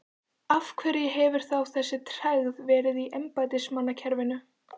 Af hverju hefur þá þessi tregða verið í embættismannakerfinu?